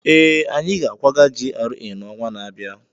ee, anyị ga-akwaga GRA n'ọnwa na-abịa